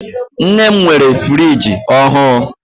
Nne m nwere friji ọhụụ.